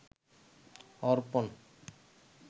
অর্পণ